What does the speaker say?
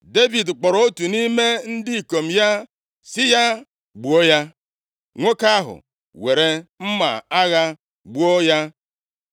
Devid kpọrọ otu nʼime ndị ikom ya sị ya, “Gbuo ya!” Nwoke ahụ weere mma agha gbuo ya.